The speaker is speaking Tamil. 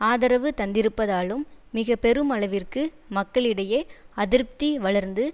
ஆதரவு தந்திருப்பதாலும் மிக பெருமளவிற்கு மக்களிடையே அதிருப்பதி வளர்ந்து